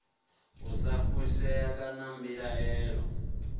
u sa fushea kana mbilaelo